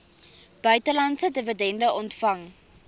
buitelandse dividende ontvang